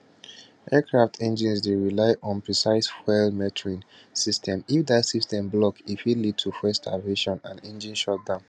aircraft engines dey rely on precise fuel metering system if dat system block e fit lead to fuel starvation and engine shutdown